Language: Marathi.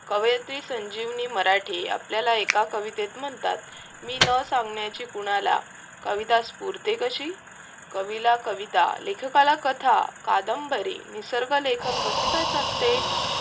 कवयत्री संजीवनी, मराठी आपल्याला एका कवितेत म्हणतात, मी न सांगण्याची कुणाला कविता स्फूर्ते कशी कवीला कविता लेखकला कथा कादंबरी निसर्ग लेखन कसे काय साधते